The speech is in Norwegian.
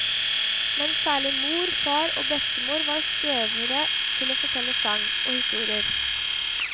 Men særlig mor, far og bestemor var støvere til å fortelle sagn og historier.